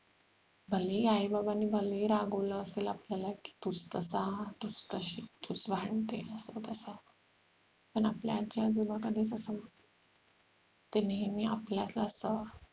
भलेही आई बाबांनी भलेही रागावले असेल आपल्याला की तूच तसा तूच तशी तूच वाढवून ठेवलं तू तस पण आपले आजी आजोबा कधीच असं ते नेहमी आपल्यात असतात